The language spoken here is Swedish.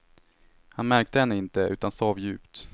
Han märkte henne inte, utan sov djupt.